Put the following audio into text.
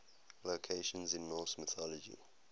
locations in norse mythology